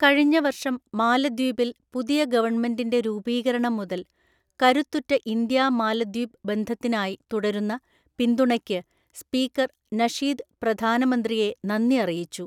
കഴിഞ്ഞ വര്‍ഷം മാലദ്വീപില്‍ പുതിയ ഗവണ്മെന്റിന്റെ രൂപികരണം മുതല്‍ കരുത്തുറ്റ ഇന്ത്യാ മാലദ്വീപ് ബന്ധത്തിനായി തുടരുന്ന പിന്തുണയ്ക്ക് സ്പീക്കര്‍ നഷീദ് പ്രധാനമന്ത്രിയെ നന്ദി അറിയിച്ചു.